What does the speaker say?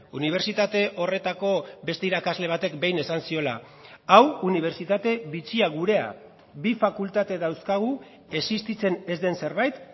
unibertsitate horretako beste irakasle batek behin esan ziola hau unibertsitate bitxia gurea bi fakultate dauzkagu existitzen ez den zerbait